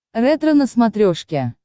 ретро на смотрешке